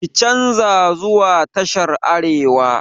Ki canza zuwa tashar arewa!